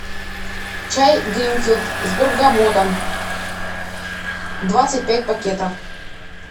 чай гринфилд с бергамотом двадцать пять пакетов